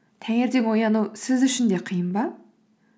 таңертең ояну сіз үшін де қиын ба